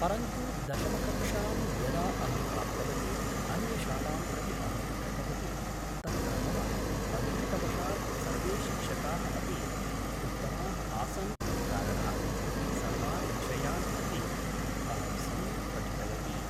परन्तु दशमकक्षां यदा अहं प्राप्तवती अन्यशालां प्रति अहं गतवती तत्र मम अदृष्टवशात् सर्वे शिक्षकाः अपि उत्तमाः आसन् इति कारणात् सर्वान् विषयान् अपि अहं सम्यक् पठितवती